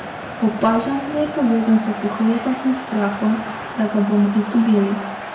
Opažam, da je povezan s pohlepom in strahom, da ga bomo izgubili.